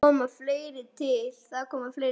Þar kom fleira til.